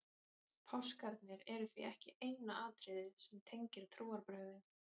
páskarnir eru því ekki eina atriðið sem tengir trúarbrögðin